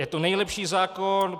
Je to nejlepší zákon.